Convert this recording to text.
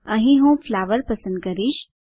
અહીં હું ફ્લાવર પસંદ કરીશ